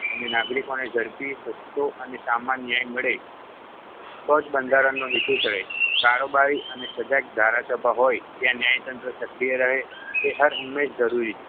અને નાગરિકોને ઝડપી, સસ્તો અને સામાન ન્યાય મળે તો જ બંધારણનો હેતુ સરે. કારોબારી અને સજાગ ધારાસભા હોય ત્યાં ન્યાયતંત્ર સક્રિય રહે તે હરહંમેશ જરૂરી છે